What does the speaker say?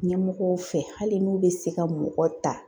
Ɲɛmɔgɔw fɛ hali n'u bɛ se ka mɔgɔ ta